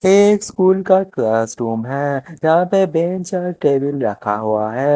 ये स्कूल का क्लासरूम है जहां पे बेंच और टेबल रखा हुआ है।